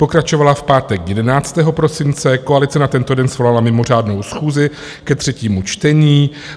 Pokračovala v pátek 11. prosince, koalice na tento den svolala mimořádnou schůzi ke třetímu čtení.